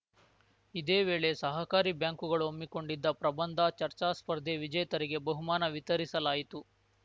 ಇದೇ ವೇಳೆ ಸಹಕಾರಿ ಬ್ಯಾಂಕುಗಳು ಹಮ್ಮಿಕೊಂಡಿದ್ದ ಪ್ರಬಂಧ ಚರ್ಚಾ ಸ್ಪರ್ಧೆ ವಿಜೇತರಿಗೆ ಬಹುಮಾನ ವಿತರಿಸಲಾಯಿತು